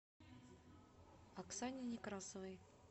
оксане некрасовой